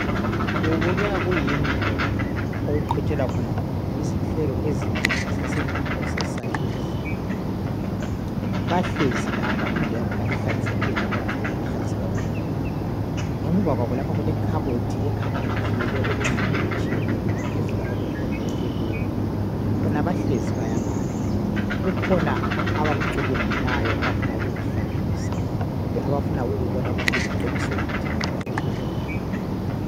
kubukeka kuyindlu okuqhutshelwa khona izinhlelo ezinengi zesifundo se science bahlezi laba indlu yakhona ihlanzekile labo bagqoke ngokuhlanzeka okukhulu ngemuva kwabo lapha kulekhabothi ekhanya ikhiyelwe okunengi okutshiyeneyo laphezulu lapha kukhona okubekwe bona bahlezi bayabala kukhona abakucubungulayo abafuna ukukuhlanganisa kumbe abafuna ukubona ukuthi kuliqiniso yini ngendlela kubhalwe ngayo